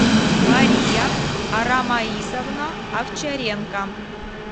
мария арамаисовна овчаренко